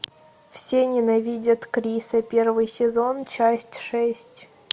все ненавидят криса первый сезон часть шесть